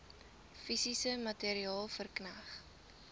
fisies materieel verkneg